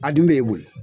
A dun bɛ mun ye